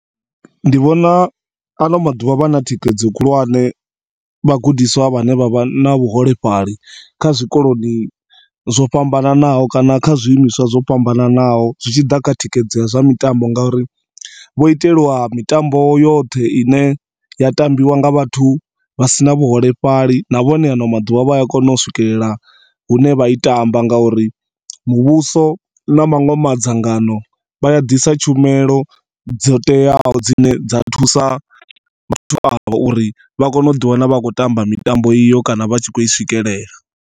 Ndi vhona ano maḓuvha vha na thikhedzo khulwane vhagudiswa vhane vha vha na vhuholefhali kha zwikoloni zwo fhananaho kana kha zwiimiswa zwo fhambanaho zwitshiḓa kha thikhedzo ya zwa mitambo ngori vho itelwa mitambo yoṱhe ine ya tambiwa nga vhathu vhasina vhuholefhali, na vhone ano maḓuvha vhaya kona u swikelela hune vha i tamba nga uri muvhuso na maṅwe mangadzano vhaya ḓisa tshumelo dzo teaho dzine dza thusa vhathu avho uri vha kone uḓi wana vha kho tamba mitambo iyo kana vhatshi kho i swikelela.